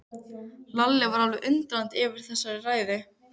Lalli var alveg undrandi yfir þessari ræðu.